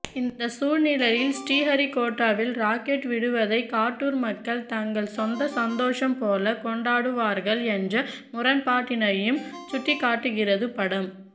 இந்தச் சூழ்நிலையில் ஸ்ரீஹரிகோட்டாவில் ராக்கெட்விடுவதைக் காட்டூர் மக்கள் தங்கள் சொந்த சந்தோஷம் போலக் கொண்டாடுவார்கள் என்ற முரண்பாட்டினையும் சுட்டிக்காட்டுகிறது படம்